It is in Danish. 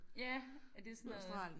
Ja er det sådan noget